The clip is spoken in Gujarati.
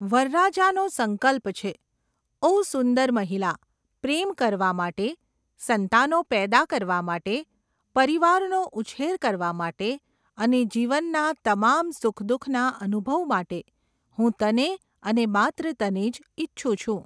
વરરાજાનો સંકલ્પ છે, ઓ સુંદર મહિલા, પ્રેમ કરવા માટે, સંતાનો પેદા કરવા માટે, પરિવારનો ઉછેર કરવા માટે અને જીવનના તમામ સુખ દુખના અનુભવ માટે હું તને અને માત્ર તને જ ઈચ્છું છું.